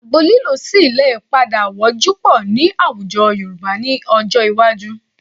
Àgbo lílò ṣì lè padà wọ́pọ̀ ní àwùjọ Yorùbá ní ọjọ́ iwájú